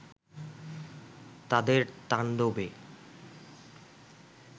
তাদের তাণ্ডবে